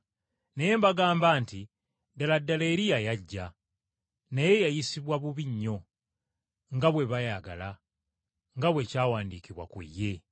Naye mbagamba nti, Ddala ddala Eriya yajja! Naye yayisibwa bubi nnyo, nga bwe baayagala, nga bwe kyawandiikibwa ku ye.”